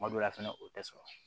Kuma dɔ la fɛnɛ o tɛ sɔrɔ